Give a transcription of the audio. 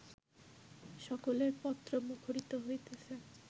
সকলের পত্র মুখরিত হইতেছে